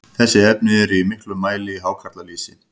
þessi efni eru í miklum mæli í hákarlalýsi